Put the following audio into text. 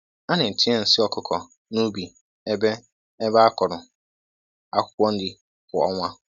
A na-etinye nsi ọkụkọ n’ubi ebe ebe a kụrụ akwukwo nri kwa ọnwa.